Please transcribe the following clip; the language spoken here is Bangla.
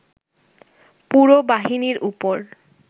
পুরো বাহিনীর উপর